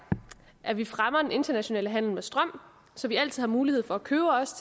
at vi fremmer en international handel med strøm så vi altid har mulighed for at købe os